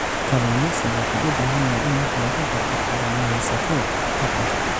Kalluumaysigu wuxuu u baahan yahay in wax laga barto kalluumaysatada dhaqanka.